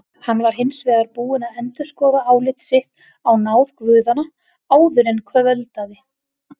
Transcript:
Hann var hins vegar búinn að endurskoða álit sitt á náð guðanna áður en kvöldaði.